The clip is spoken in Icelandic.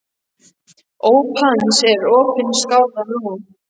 Óp hans er opin skárra nú.